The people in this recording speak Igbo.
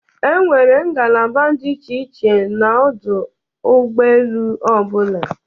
E nwere ngalaba dị iche iche n'ọdụ ụgọoelu ọbụla.